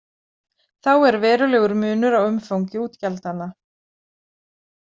Þá er verulegur munur á umfangi útgjaldanna.